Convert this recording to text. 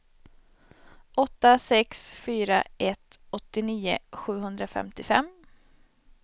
åtta sex fyra ett åttionio sjuhundrafemtiofem